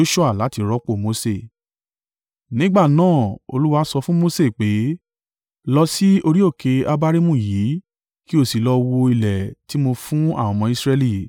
Nígbà náà Olúwa sọ fún Mose pé, “Lọ sì orí òkè Abarimu yìí, kí o sì lọ wo ilẹ̀ tí mo fún àwọn ọmọ Israẹli.